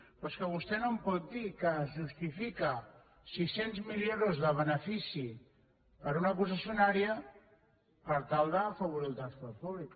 però és que vostè no em pot dir que justifica sis cents milions d’euros de benefici per a una concessionària per tal d’afavorir el transport públic